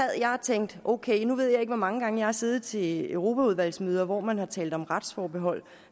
jeg og tænkte at ok nu ved jeg ikke hvor mange gange jeg har siddet til europaudvalgsmøder hvor man har talt om retsforbehold